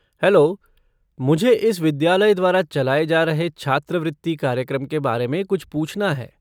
Hello, मुझे इस विद्यालय द्वारा चलाए जा रहे छात्रवृत्ति कार्यक्रम के बारे में कुछ पूछना है।